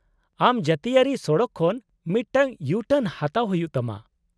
-ᱟᱢ ᱡᱟᱹᱛᱤᱭᱟᱹᱨᱤ ᱥᱚᱲᱚᱠ ᱠᱷᱚᱱ ᱢᱤᱫᱴᱟᱝ ᱤᱭᱩ ᱴᱟᱨᱱ ᱦᱟᱛᱟᱣ ᱦᱩᱭᱩᱜ ᱛᱟᱢᱟ ᱾